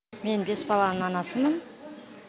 мен бес баланың анасымын